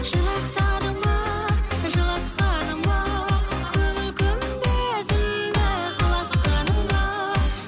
жырақтадың ба жылатқаның ба көңіл күмбезімді құлатқаның ба